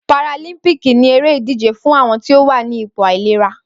Páràlímpìkí ni éré idijé fùn awọn ti ó wà nipó áilérà